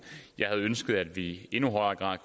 jeg havde ønsket at vi i endnu højere grad